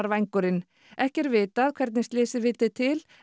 vængurinn ekki er vitað hvernig slysið vildi til